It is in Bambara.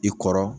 I kɔrɔ